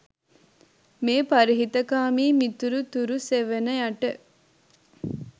මේ පරහිතකාමී මිතුරු තුරු සෙවණ යට